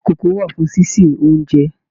Ìkókó wà fún ṣíṣe oúnjẹ.